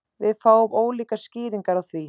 Við fáum ólíkar skýringar á því